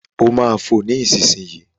Ó máa fo nísìnyìí.